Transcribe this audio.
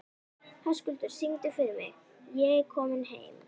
Höskuldur, syngdu fyrir mig „Ég er kominn heim“.